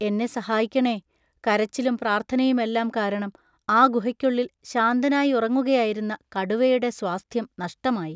എന്നെ സഹായിക്കണേ! കരച്ചിലും പ്രാർത്ഥനയുമെല്ലാം കാരണം ആ ഗുഹയ്ക്കുള്ളിൽ ശാന്തനായുറങ്ങുകയായിരുന്ന കടുവയുടെ സ്വാസ്ഥ്യം നഷ്ടമായി.